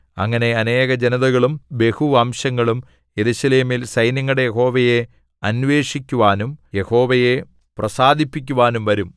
അങ്ങനെ അനേകജനതകളും ബഹുവംശങ്ങളും യെരൂശലേമിൽ സൈന്യങ്ങളുടെ യഹോവയെ അന്വേഷിക്കുവാനും യഹോവയെ പ്രസാദിപ്പിക്കുവാനും വരും